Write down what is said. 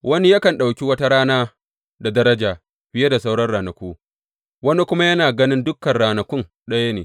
Wani yakan ɗauki wata rana da daraja fiye da sauran ranaku; wani kuma yana ganin dukan ranakun ɗaya ne.